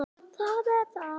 Þú deyrð.